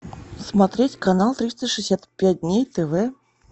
смотреть канал триста шестьдесят пять дней тв